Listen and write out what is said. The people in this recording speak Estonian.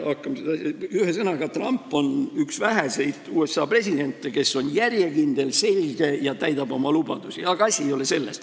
Ühesõnaga, Trump on üks väheseid USA presidente, kes on järjekindel, selge ja täidab oma lubadusi, aga asi ei ole selles.